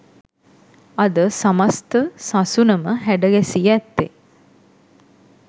අද සමස්ථ සසුනම හැඩගැසී ඇත්තේ